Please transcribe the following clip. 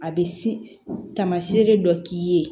A bɛ taamasere dɔ k'i ye